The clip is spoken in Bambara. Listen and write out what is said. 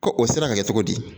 Ko o sera ka kɛ cogo di?